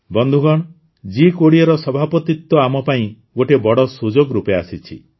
ବନ୍ଧୁଗଣ ଜି୨୦ର ସଭାପତିତ୍ୱ ଆମ ପାଇଁ ଗୋଟିଏ ବଡ଼ ସୁଯୋଗ ରୂପେ ଆସିଛି